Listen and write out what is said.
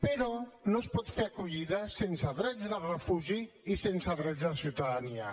però no es pot fer acollida sense drets de refugi i sense drets de ciutadania